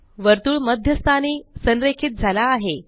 वर्तुळ मध्य स्थानी संरेखित झाला आहे